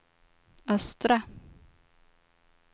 östra